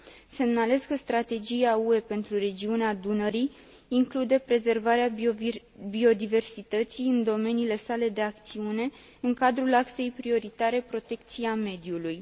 Semnalez că strategia UE pentru regiunea Dunării include prezervarea biodiversității în domeniile sale de acțiune în cadrul axei prioritare protecția mediului.